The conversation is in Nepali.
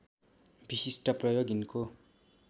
विशिष्ट प्रयोग यिनको